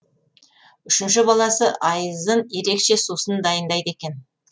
үшінші баласы аййзын ерекше сусын дайындайды екен